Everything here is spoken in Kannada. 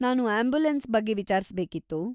ನಾನು ಆಂಬ್ಯುಲೆನ್ಸ್‌ ಬಗ್ಗೆ ವಿಚಾರಿಸ್ಬೇಕಿತ್ತು.